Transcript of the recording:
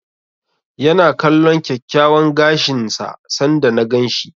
Ya na kalllon kyakkyawan gashin sa sanda na gan shi.